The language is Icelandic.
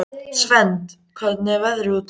Svend, hvernig er veðrið úti?